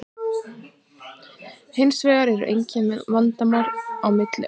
Hins vegar eru engin vandamál á milli okkar.